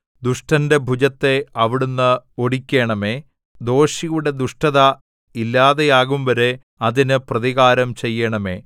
ദുഷ്ടന്റെ ഭുജത്തെ അവിടുന്ന് ഒടിക്കണമേ ദോഷിയുടെ ദുഷ്ടത ഇല്ലാതെയാകുംവരെ അതിന് പ്രതികാരം ചെയ്യണമേ